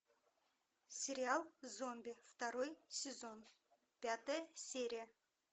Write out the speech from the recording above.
сериал зомби второй сезон пятая серия